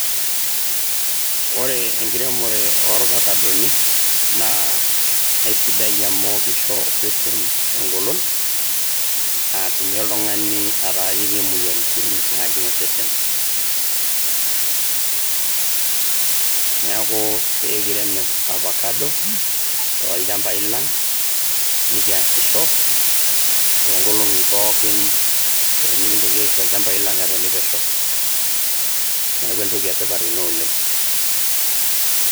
Ore enkiremore oo ovakadoni naa isidai amu kisho osesen eng`olon natumie oltung`ani ataararie moyiaritin naajing osesen. Niaku pee kirem ovakado too ilchambai lang nikiasisho too nkolong`i pookin pee mikintoki aisho ilchambai lang etoni pesho. Niaku entoki e tipat ina oleng.